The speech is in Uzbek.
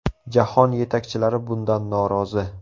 Jahon yetakchilari bundan norozi.